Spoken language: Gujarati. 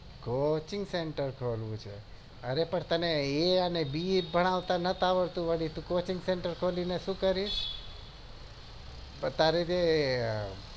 coching sentar ખોલવું છે અરે પણ તને A અને B ભણાવતા નથી આવડતું અને વડી તું coaching centre ખોલીને શું કરીશ